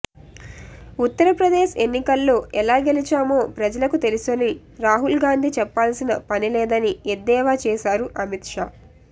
ఉత్తర్ ప్రదేశ్ ఎన్నికల్లో ఎలా గెలిచామో ప్రజలకు తెలుసని రాహుల్ గాంధీ చెప్పాల్సిన పనిలేదని ఎద్దేవా చేశారు అమిత్ షా